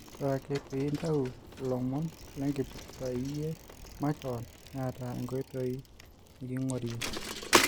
Ore ake peyie intau lomon lenkipirta iyie makeon neeta enkoitoi neking'orie.